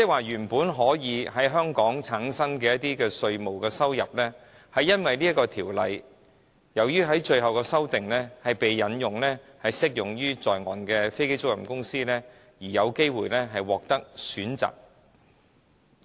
原本可以在香港產生的稅務收入，卻由於《條例草案》最終的修訂須適用於在岸的飛機租賃公司，而讓它們有機會獲得選擇。